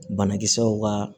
Banakisɛw ka